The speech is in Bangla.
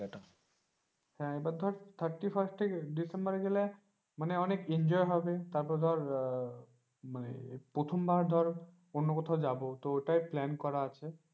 এবার ধর thirty first এ ডিসেম্বরে গেলে মানে অনেক enjoy হবে ধর মানে, প্রথম বার ধর অন্য কোথাও যাব তো ওটাই plan করা আছে।